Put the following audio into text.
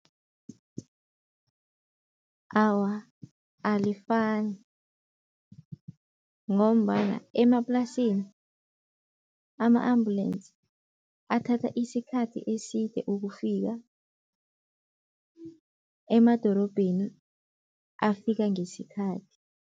Awa, alifani ngombana emaplasini ama-ambulensi athatha isikhathi eside ukufika, emadorobheni afika ngesikhathi.